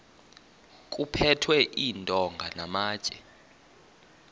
kuphethwe iintonga namatye